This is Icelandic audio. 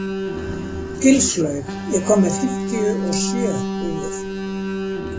Gilslaug, ég kom með fimmtíu og sjö húfur!